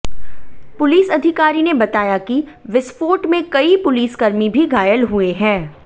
police अधिकारी ने बताया कि विस्फोट में कई पुलिसकर्मी भी घायल हुए हैं